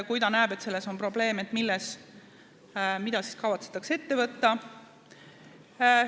Kui ta näeb, et selles on probleem, siis mida kavatsetakse ette võtta?